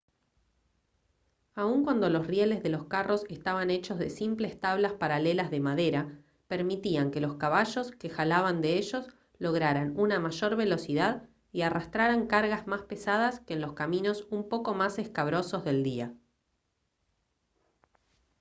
aun cuando los rieles de los carros estaban hechos de simples tablas paralelas de madera permitían que los caballos que jalaban de ellos lograran una mayor velocidad y arrastraran cargas más pesadas que en los caminos un poco más escabrosos del día